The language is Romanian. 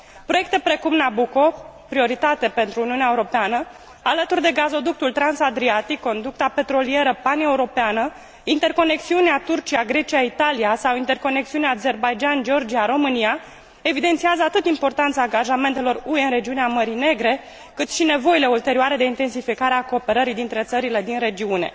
Proiecte precum Nabucco, prioritate pentru Uniunea Europeană, alături de gazoductul transadriatic, conducta petrolieră paneuropeană, interconexiunea Turcia Grecia Italia sau interconexiunea Azerbaidjan Georgia România evidențiază atât importanța angajamentelor UE în regiunea Mării Negre, cât și nevoile ulterioare de intensificare a cooperării dintre țările din regiune.